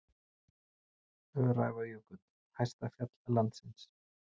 Öræfajökull, hæsta fjall landsins.